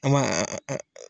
An b'a